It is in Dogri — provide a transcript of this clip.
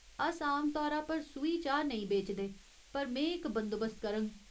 अस आम तौरा पर सूही चाह् नेईं बेचदे, पर में इक बंदोबस्त करङ।